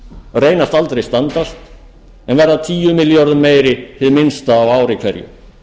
reynast aldrei standast en verða tíu milljörðum meiri hið minnsta á ári hverju